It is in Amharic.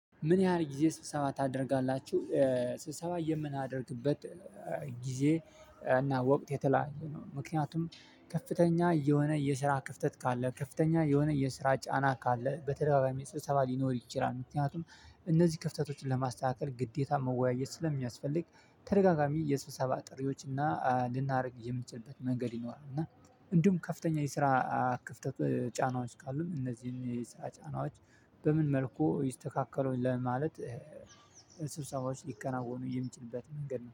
ምን ያህል ጊዜ ስብሰባ ታደርጋላችሁ? ስብሰባ የምናደርግበት ጊዜ እና ወቅት የተለያየ ነው። ምክንያቱም ከፍተኛ የሆነ የስራ ክፍተት ካለ፤ ከፍተኛ የሆነ የስራ ጫና ካለ፤ በተደጋጋሚ የሰበሰባ ሊኖር ይችላል። ምክንያቱም እነዚህ ክፍተቶችን ለማስተካከል ግዴታ መወያየት ስለሚያስፈልግ ተደጋጋሚ የስብሰባ ጥሪዎች እና ልናደርግ የምንችልበት መንገድ ይኖራል። እና እንዲሁም ከፍተኛ የስራ ክፍተት ጫናዎች ካሉን እነዚህን የስራ ጫናዎች በምን መልኩ ይስተካከላል ማለት ስብሳዎች ሊከናወኑ የሚችሉበት መንገድ ነው።